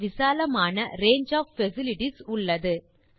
விசாலமான range of facilities உள்ளது